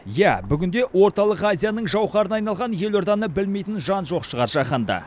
иә бүгінде орталық азияның жауһарына айналған елорданы білмейтін жан жоқ шығар жаһанда